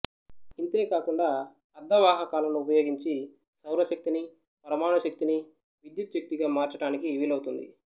ఇంతే కాకుండా అర్థవాహకాలను ఉపయోగించి సౌరశక్తినీ పరమాణు శక్తినీ విద్యుత్ శక్తిగా మార్చటానికి వీలవుతుంది